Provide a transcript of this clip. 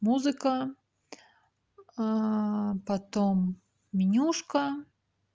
музыка потом менюшка